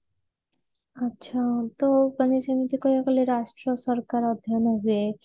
ଆଛା ତ ମାନେ ସେମିତି କହିବାକୁ ଗଲେ ରାଷ୍ଟ୍ର ସରକାର ଅଧ୍ୟୟନ ହୁଏ